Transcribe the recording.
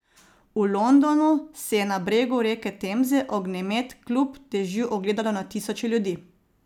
V Londonu si je na bregu reke Temze ognjemet kljub dežju ogledalo na tisoče ljudi.